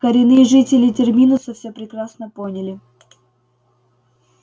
коренные жители терминуса всё прекрасно поняли